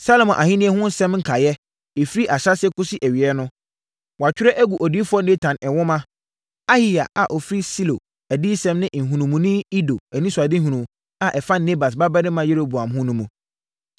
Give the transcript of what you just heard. Salomo ahennie ho nsɛm nkaeɛ, firi ahyɛaseɛ kɔsi awieeɛ no, wɔatwerɛ agu odiyifoɔ Natan nwoma, Ahiya a ɔfiri Silo adiyisɛm ne nhunumuni Ido anisoadehunu a ɛfa Nebat babarima Yeroboam ho no mu.